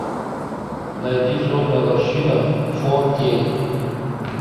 найди сонная лощина фо кей